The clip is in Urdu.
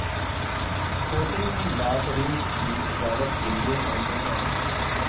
کوٹنگ بھی باتھ رومز کی سجاوٹ کے لئے موزوں ہے